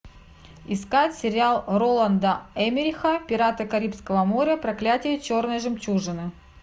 искать сериал роланда эммериха пираты карибского моря проклятие черной жемчужины